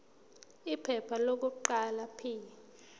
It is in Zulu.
iphepha lokuqala p